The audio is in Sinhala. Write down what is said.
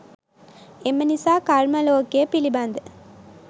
එම නිසා කර්ම ලෝකය පිළිබඳ